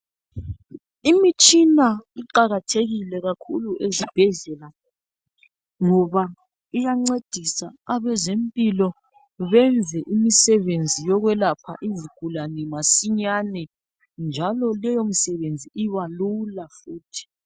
Imitshina iqakathekile kakhulu esibhedlela ngoba iyancedisa abezempilo benze imsebenzi yokwelapha izigulane masinyane njalo leyo msebenzi ibalula.